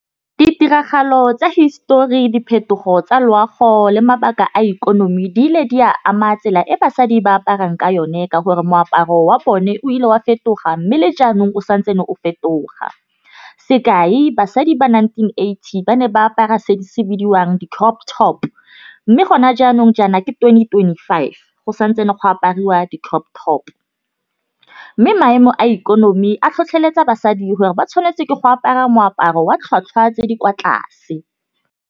Ditiragalo tsa hisetori diphetogo tsa loago le mabaka a ikonomi di ile di a ama tsela e basadi ba aparang ka yone. Ka gore moaparo wa bone o ile wa fetoga mme le jaanong santsane o fetoga sekai basadi ba nineteen eighty ba ne ba apara se se bidiwang di-crop top. Mme gona jaanong jaana ke twenty twenty five go santse go apariwa di-crop top, mme maemo a ikonomi a tlhotlheletsa basadi gore ba tshwanetse ke go apara moaparo wa tlhotlhwa tse di kwa tlase.